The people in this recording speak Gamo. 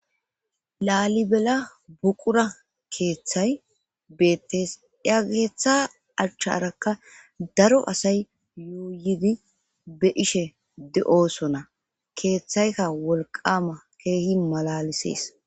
laalibela buqura keeththay beettees iya keeththa acchcharakka daro asay yooyidi be ishe de7osona keeththayka wolqama keehi malalisees